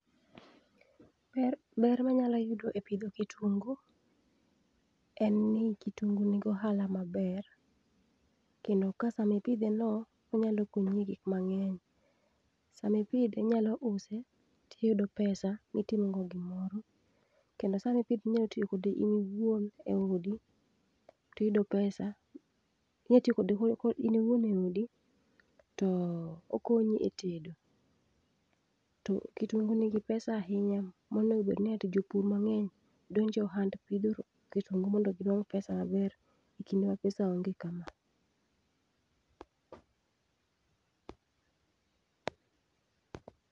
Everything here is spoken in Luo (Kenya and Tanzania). Ber manyalo yudo e pudho kitungu en ni kitungu ni gi ohala maber kendo ka samipidheno, onyalo konyi e gik mang'eny. Sama ipidhe, inyalo use to iyudo pesa to itimo go gimoro. Kendo sama ipidhe inyalo tiyomkode in iwuon eodi tiyudo pesa inyalo tiyo kode in iwuon eodi to mokonyi e tedo. To kitungu nigi pesa ahinya monego obed ni eti jopur mang'eny odonj e ohand pidho kitungu mondo ginuang' pesa maber ekinde ma pesa onge kama.